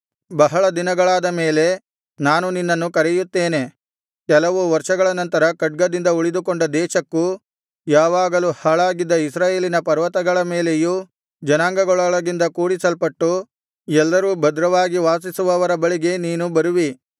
ಬಹಳ ದಿನಗಳಾದ ಮೇಲೆ ನಾನು ನಿನ್ನನ್ನು ಕರೆಯುತ್ತೇನೆ ಕೆಲವು ವರ್ಷಗಳ ನಂತರ ಖಡ್ಗದಿಂದ ಉಳಿದುಕೊಂಡ ದೇಶಕ್ಕೂ ಯಾವಾಗಲೂ ಹಾಳಾಗಿದ್ದ ಇಸ್ರಾಯೇಲಿನ ಪರ್ವತಗಳ ಮೇಲೆಯೂ ಜನಾಂಗಗಳೊಳಗಿಂದ ಕೂಡಿಸಲ್ಪಟ್ಟು ಎಲ್ಲರೂ ಭದ್ರವಾಗಿ ವಾಸಿಸುವವರ ಬಳಿಗೆ ನೀನು ಬರುವಿ